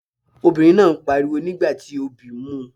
Obìnrin náà ń pariwo nígbà tí obí ń mu.